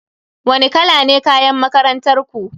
Wani kala ne kayan makarantar ku?